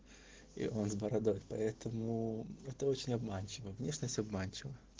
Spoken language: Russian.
и он с бородой поэтому это очень обманчиво внешность обманчива